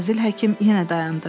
Fazil Həkim yenə dayandı.